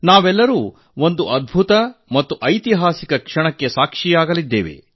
ನಾವೆಲ್ಲರೂ ಈ ಒಂದು ಮಹತ್ವದ ಮತ್ತು ಐತಿಹಾಸಿಕ ಕ್ಷಣಕ್ಕೆ ಸಾಕ್ಷಿಯಾಗಲಿದ್ದೇವೆ